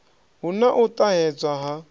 hu na u ṱahedzwa ha